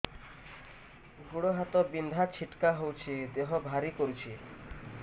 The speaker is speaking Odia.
ଗୁଡ଼ ହାତ ବିନ୍ଧା ଛିଟିକା ହଉଚି ଦେହ ଭାରି କରୁଚି